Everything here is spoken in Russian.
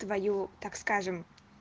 твою так скажем